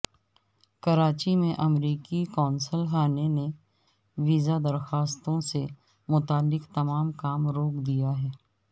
کراچی میں امریکی قونصل خانے نے ویزہ درخواستوں سے متعلق تمام کام روک دیا ہے